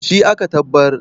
shi aka tabbar?